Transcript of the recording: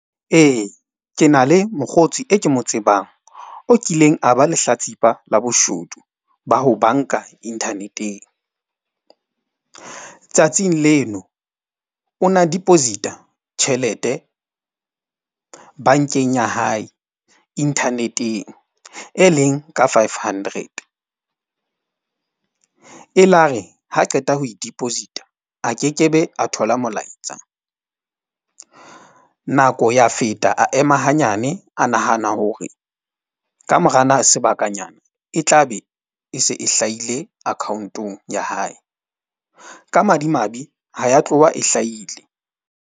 Ee, ke na le mokgotsi e ke mo tsebang o kileng a ba lehlatsipa la boshodu ba ho bank-a internet-eng. Tsatsing leno o na deposit-a tjhelete bank-eng ya hae internet-eng e leng ka five hundred. E la re ha qeta ho e deposit-a a kekebe, a thola molaetsa. Nako ya feta a ema hanyane, a nahana hore kamora sebakanyana e tla be e se e hlahile account-ong ya hae. Ka madimabe, ha ya tloha e hlahile.